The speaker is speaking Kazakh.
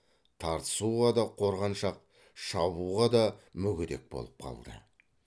тартысуға да қорғаншақ шабуға да мүгедек болып қалды